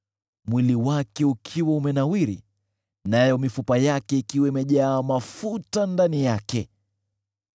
mwili wake ukiwa umenawiri, nayo mifupa yake ikiwa imejaa mafuta ndani yake.